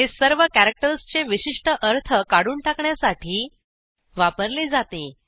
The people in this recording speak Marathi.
हे सर्व कॅरॅक्टर्सचे विशिष्ट अर्थ काढून टाकण्यासाठी वापरले जाते